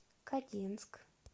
кодинск